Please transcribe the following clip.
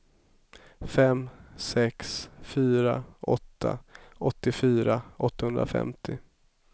fem sex fyra åtta åttiofyra åttahundrafemtio